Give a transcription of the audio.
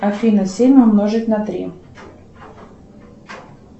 афина семь умножить на три